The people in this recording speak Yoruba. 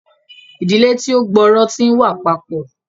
Ìdílé tí o gb'ọrọ tí n wà papọ